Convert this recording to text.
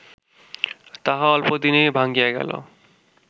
তাহা অল্পদিনেই ভাঙ্গিয়া গেল